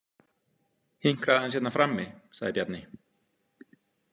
Hinkraðu aðeins hérna frammi, sagði Bjarni.